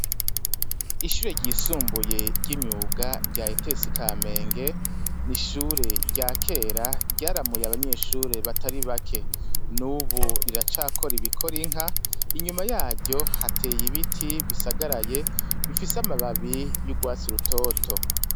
Ishure ryisumbuye ry'imyuga rya ETS Kamenge n'ishure rya kera ryaramuye abanyeshure batari bake nubu riracakora ibikora inka. Inyuma yaryo hateye ibiti bisagaraye bifise amababi y'ugwatsi rutoto.